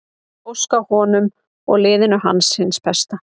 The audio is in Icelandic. Ég óska honum og liðinu alls hins besta.